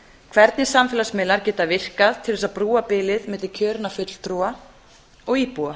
hvernig samfélagsmiðlar geta virkað til þess að brúa bilið milli kjörinna fulltrúa og íbúa